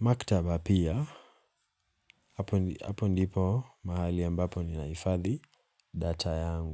maktaba pia Hapo ndipo mahali ambapo ninahifadhi data yangu.